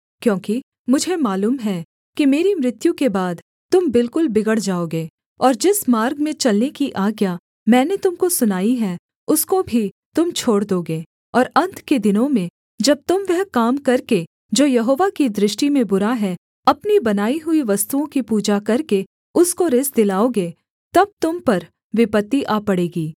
क्योंकि मुझे मालूम है कि मेरी मृत्यु के बाद तुम बिल्कुल बिगड़ जाओगे और जिस मार्ग में चलने की आज्ञा मैंने तुम को सुनाई है उसको भी तुम छोड़ दोगे और अन्त के दिनों में जब तुम वह काम करके जो यहोवा की दृष्टि में बुरा है अपनी बनाई हुई वस्तुओं की पूजा करके उसको रिस दिलाओगे तब तुम पर विपत्ति आ पड़ेगी